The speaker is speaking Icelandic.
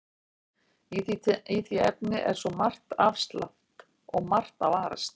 Í því efni er svo margt afsleppt og margt að varast.